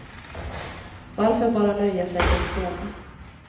Varför bara nöja sig med att fråga.